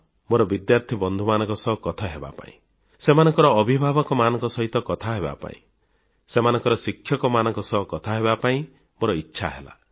ମୋର ବିଦ୍ୟାର୍ଥୀ ବନ୍ଧୁମାନଙ୍କ ସହ କଥା ହେବା ପାଇଁ ସେମାନଙ୍କ ଅଭିଭାବକମାନଙ୍କ ସହିତ କଥା ହେବାପାଇଁ ସେମାନଙ୍କ ଶିକ୍ଷକମାନଙ୍କ ସହ କଥାହେବା ପାଇଁ ମୋର ଇଚ୍ଛା ହେଲା